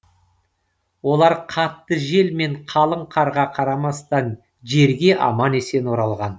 олар қатты жел мен қалың қарға қарамастан жерге аман есен оралған